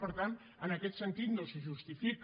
per tant en aquest sentit no es justifica